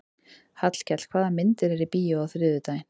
Hallkell, hvaða myndir eru í bíó á þriðjudaginn?